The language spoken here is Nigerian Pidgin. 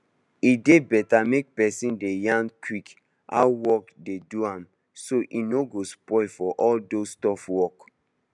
e dey beta make person dey yan quick how work dey do am so e no go spoil for all those tough work